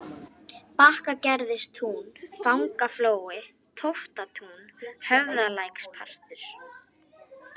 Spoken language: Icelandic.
Bakkagerðistún, Fangaflói, Tóftatún, Höfðalækspartur